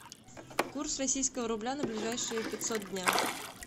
курс российского рубля на ближайшие пятьсот дня